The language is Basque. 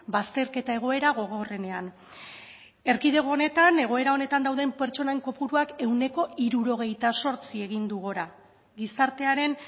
bazterketa egoera gogorrenean erkidego honetan egoera honetan dauden pertsonen kopuruak ehuneko hirurogeita zortzi egin du gora gizartearen